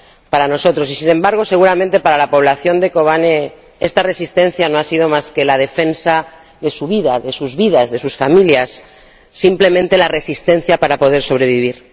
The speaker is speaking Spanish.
para nosotros y, sin embargo, seguramente, para la población de Kobane esta resistencia no ha sido más que la defensa de sus vidas, de sus familias, simplemente la resistencia para poder sobrevivir.